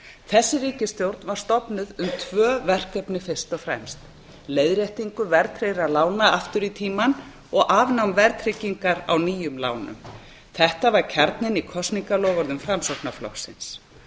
þessi ríkisstjórn var stofnuð um tvö verkefni fyrst og fremst leiðréttingu verðtryggðra lána aftur í tímann og afnám verðtryggingar á nýjum lánum þetta var kjarninn í kosningaloforðum framsóknarflokksins